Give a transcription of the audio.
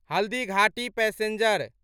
Haldighati passenger